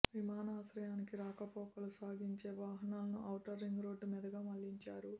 విమానాశ్రయానికి రాకపోకలు సాగించే వాహనాలను ఔటర్ రింగ్ రోడ్ మీదుగా మళ్లించారు